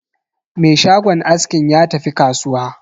Me shagon askin ya tafi kasuwa.